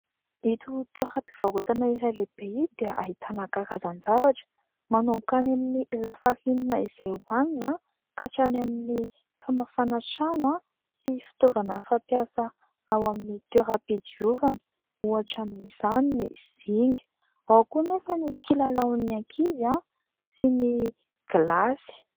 Ito toeram-pivarotana iray lehibe ity dia ahitana amkarazan-javatra manomboka any amin'ny lafarinina izay hoanina aaho ka hatrany amin'ny famafana trano sy fitaovana fampiasa ao amin'ny toeram-pidiovana ohatra amin'izany ny zinga ao koa anefa ny kilalaon'ny ankizy sy ny glasy.